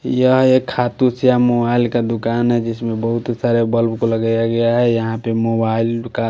यह एक खाटू श्याम मोबाइल का दुकान है जिसमें बहुत सारे बल्ब को लगाया गया है यहाँ पे मोबाइल का --